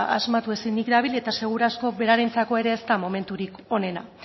asmatu ezinik dabil eta seguru asko berarentzako ere ez dela momentutik onena